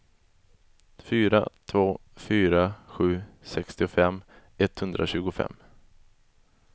fyra två fyra sju sextiofem etthundratjugofem